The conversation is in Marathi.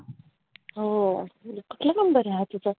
हो, कुठला number हा तुझा?